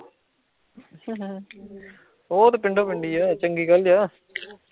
ਓ ਤੇ ਪਿੰਡੋ ਪਿੰਡ ਈ ਆ, ਚੰਗੀ ਗੱਲ ਈ ਆ